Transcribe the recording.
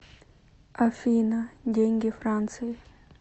афина деньги франции